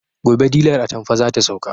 Gobe dilar atamfar zata sauka